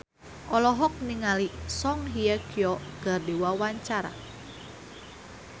Reysa Chandragitta olohok ningali Song Hye Kyo keur diwawancara